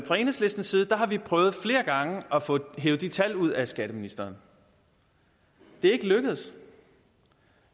fra enhedslistens side har vi prøvet flere gange at få hevet de tal ud af skatteministeren det er ikke lykkedes